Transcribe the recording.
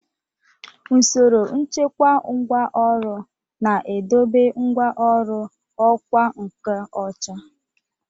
Usoro nchekwa ngwá ọrụ na-edobe ngwá ọrụ ọkwá nkà ocha.